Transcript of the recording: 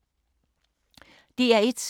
DR1